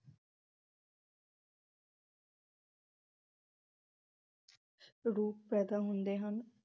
ਰੂਪ ਪੈਦਾ ਹੁੰਦੇ ਹਨ।